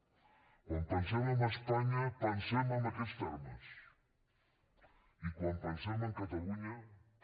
quan pensem en espanya pensem en aquests termes i quan pensem en catalunya també